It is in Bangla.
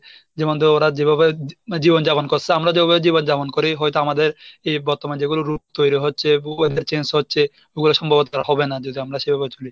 ওরা যেভাবে জীবন যাপন করসে আমরা যেভাবে জীবন যাপন করি হয়তো আমাদের এই বর্তমান যেগুলো রূপ তৈরি হচ্ছে, যেগুলো change হচ্ছে. ওগুলো সম্ভবত তারা হবে না যদি আমরা সেভাবে চলি।